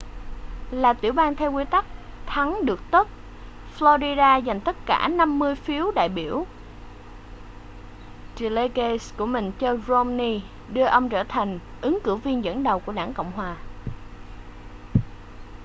là tiểu bang theo quy tắc thắng được tất” florida dành tất cả năm mươi phiếu đại biểu delegates của mình cho romney đưa ông trở thành ứng cử viên dẫn đầu của đảng cộng hòa